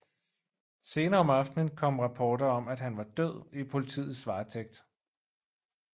Senere om aftenen kom rapporter om at han var død i politiets varetægt